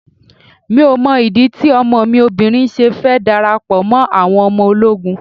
Mi ò mọ ìdí tí ọmọ mi obìnrin ṣe fẹ́ darapọ̀ mọ́ àwọn ọmọ ológun.